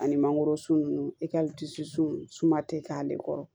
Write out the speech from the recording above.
Ani mangorosun ninnu i ka suma tɛ k'ale kɔrɔ